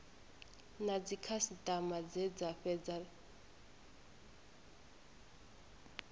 na dzikhasitama dze dza fhedza